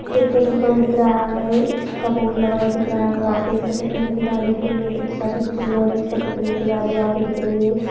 एक petrol pump दिख रहा है उस का बोर्ड लगा हुआ दिख रहा है वहा पे एक सफ़ेद कलर की गाडी भी दिख रही है एक रिक्शा भी दिख रही है और सफ़ेद कलर की गाडी यहां पे दिख रही है।